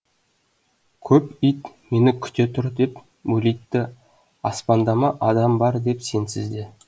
көп ит мені күте тұр деп мөлитті аспандама адам бар деп сенсіз де